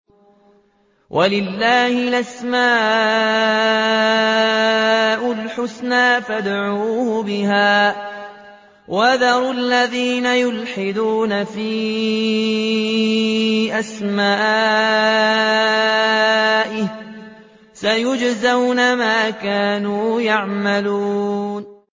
وَلِلَّهِ الْأَسْمَاءُ الْحُسْنَىٰ فَادْعُوهُ بِهَا ۖ وَذَرُوا الَّذِينَ يُلْحِدُونَ فِي أَسْمَائِهِ ۚ سَيُجْزَوْنَ مَا كَانُوا يَعْمَلُونَ